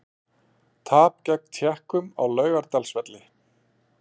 Tap gegn Tékkum á Laugardalsvelli